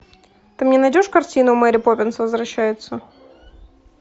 ты мне найдешь картину мэри поппинс возвращается